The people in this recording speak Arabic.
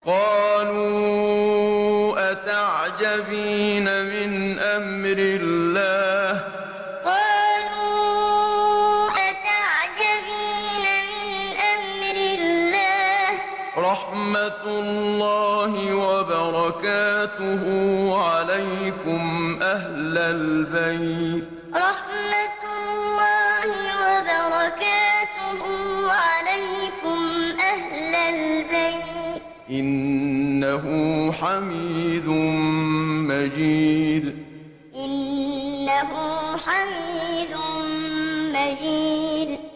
قَالُوا أَتَعْجَبِينَ مِنْ أَمْرِ اللَّهِ ۖ رَحْمَتُ اللَّهِ وَبَرَكَاتُهُ عَلَيْكُمْ أَهْلَ الْبَيْتِ ۚ إِنَّهُ حَمِيدٌ مَّجِيدٌ قَالُوا أَتَعْجَبِينَ مِنْ أَمْرِ اللَّهِ ۖ رَحْمَتُ اللَّهِ وَبَرَكَاتُهُ عَلَيْكُمْ أَهْلَ الْبَيْتِ ۚ إِنَّهُ حَمِيدٌ مَّجِيدٌ